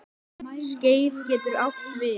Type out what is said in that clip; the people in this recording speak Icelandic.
Skeið getur átt við